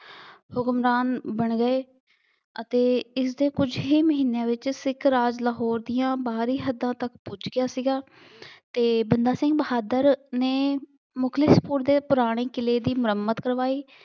ਹੁਕਮਰਾਨ ਬਣ ਗਏ ਅਤੇ ਇਸਦੇ ਕੁੱਝ ਹੀ ਮਹੀਨਿਆਂ ਵਿੱਚ ਸਿੱਖ ਰਾਜ ਲਾਹੌਰ ਦੀਆਂ ਬਾਹਰੀ ਹੱਦਾਂ ਤੱਕ ਪੁੱਜ ਗਿਆ ਸੀਗਾ ਅਤੇ ਬੰਦਾ ਸਿੰਘ ਬਹਾਦਰ ਨੇ ਮੁਖਲਿਸਪੁਰ ਦੇ ਪੁਰਾਣੇ ਕਿਲੇ ਦੀ ਮੁਰੰਮਤ ਕਰਵਾਈ।